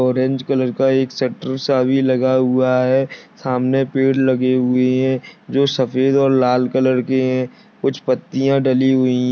Orange colour का एक shutter सा भी लगा हुआ है। सामने पेड़ लगे हुए है जो सफेद और लाल कलर के है कुछ पत्तियां डली हुई है।